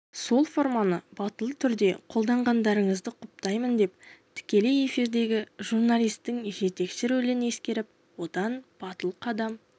сол форманы батыл түрде қолданғандарыңызды құптаймын деп тікелей эфирдегі журналистің жетекші ролін ескеріп одан батыл қадам